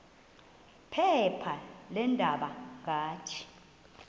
phepha leendaba ngathi